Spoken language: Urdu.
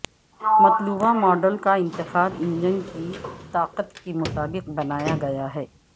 مطلوبہ ماڈل کا انتخاب انجن کی طاقت کے مطابق بنایا گیا ہے